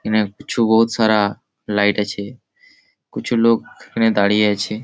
এই খানে কিছু বহুত সারা লাইট আছে । কুছু লোক এখানে দাঁড়িয়ে আছে।